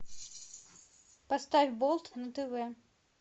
поставь болт на тв